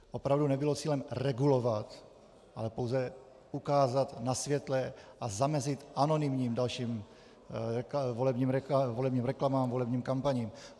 Opravdu nebylo cílem regulovat, ale pouze ukázat na světle a zamezit anonymním dalším volebním reklamám, volebním kampaním.